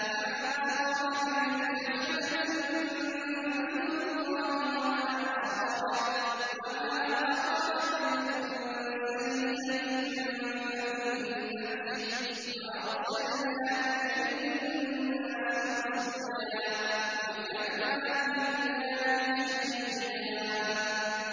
مَّا أَصَابَكَ مِنْ حَسَنَةٍ فَمِنَ اللَّهِ ۖ وَمَا أَصَابَكَ مِن سَيِّئَةٍ فَمِن نَّفْسِكَ ۚ وَأَرْسَلْنَاكَ لِلنَّاسِ رَسُولًا ۚ وَكَفَىٰ بِاللَّهِ شَهِيدًا